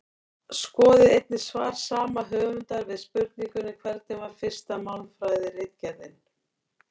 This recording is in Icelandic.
Skoðið einnig svar sama höfundar við spurningunni Hvernig var fyrsta málfræðiritgerðin?